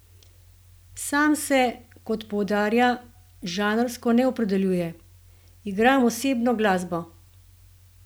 Sam se, kot poudarja, žanrsko ne opredeljuje: "Igram osebno glasbo.